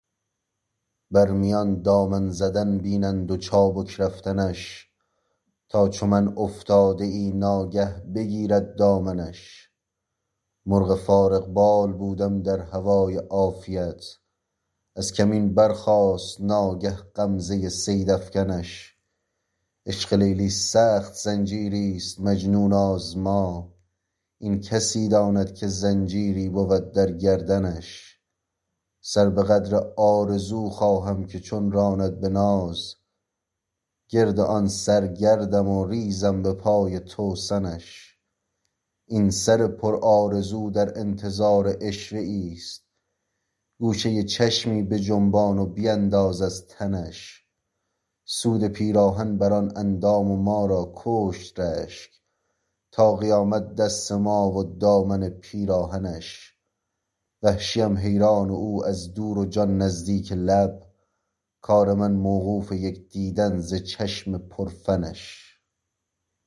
بر میان دامن زدن بینند و چابک رفتنش تا چو من افتاده ای نا گه بگیرد دامنش مرغ فارغ بال بودم در هوای عافیت از کمین برخاست ناگه غمزه صید افکنش عشق لیلی سخت زنجیریست مجنون آزما این کسی داند که زنجیری بود در گردنش سر به قدر آرزو خواهم که چون راند به ناز گرد آن سر گردم و ریزم به پای توسنش این سر پرآرزو در انتظار عشوه ایست گوشه چشمی بجنبان و بینداز از تنش سود پیراهن بر آن اندام و ما را کشت رشک تا قیامت دست ما و دامن پیراهنش وحشیم حیران او از دور و جان نزدیک لب کار من موقوف یک دیدن ز چشم پر فنش